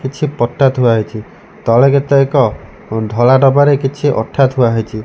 କିଛି ପଟା ଥୁଆ ହେଇଛି ତଳେ କେତେକ ଅଁ ଧଳା ଡବାରେ କିଛି ଅଠା ଥୁଆ ହେଇଛି।